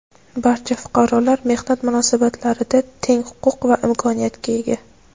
Barcha fuqarolar mehnat munosabatlarida teng huquq va imkoniyatga ega.